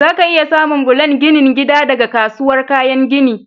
Zaka iya samun bulan ginin gida daga kasuwar kayan gini.